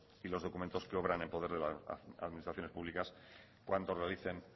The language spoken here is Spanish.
y los documentos que obran en poder de las administraciones públicas cuando realicen